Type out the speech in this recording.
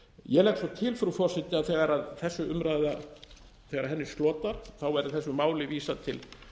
ég legg svo til frú forseti að þessari umræðu slotar verði þessu máli vísað til